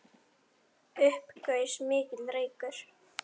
Upp gaus mikill reykur.